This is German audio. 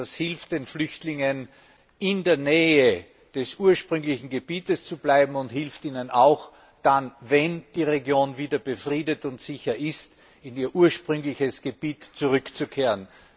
Das hilft den Flüchtlingen, in der Nähe des ursprünglichen Gebiets zu bleiben und hilft ihnen auch dann, wenn die Region wieder befriedet und sicher ist, in ihr ursprüngliches Gebiet zurückzukehren.